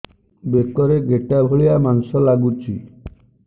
ବେକରେ ଗେଟା ଭଳିଆ ମାଂସ ଲାଗୁଚି